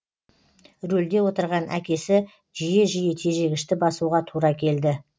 рөлде отырған әкесі жиі жиі тежегішті басуға тура келді